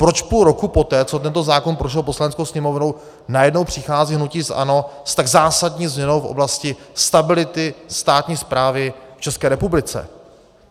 Proč půl roku poté, co tento zákon prošel Poslaneckou sněmovnou, najednou přichází hnutí ANO s tak zásadní změnou v oblasti stability státní správy v České republice?